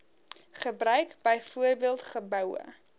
gebruik byvoorbeeld geboue